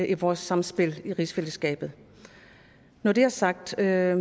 i vores samspil i rigsfællesskabet når det er sagt vil jeg